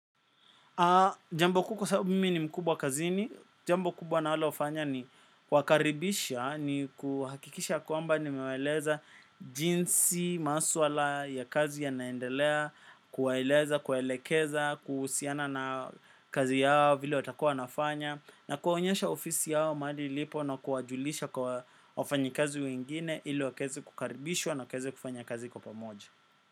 Jambo kuu kwa sababu mimi ni mkubwa kazini, jambo kubwa ninalofanya ni kuwakaribisha ni kuhakikisha kwamba nimewaeleza jinsi maswala ya kazi yanaendelea, kuwaeleza, kuwaelekeza, kuhusiana na kazi yao vile watakuwa wanafanya na kuwaonyesha ofisi yao mahali ilipo na kuwajulisha kwa wafanyi kazi wengine ili wakaweze kukaribishwa na wakaweze kufanya kazi kwa pamoja.